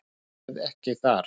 Ég verð ekki þar.